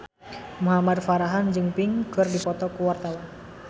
Muhamad Farhan jeung Pink keur dipoto ku wartawan